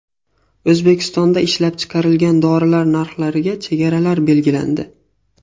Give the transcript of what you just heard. O‘zbekistonda ishlab chiqarilgan dorilar narxlariga chegaralar belgilandi.